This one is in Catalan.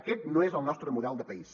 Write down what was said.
aquest no és el nostre model de país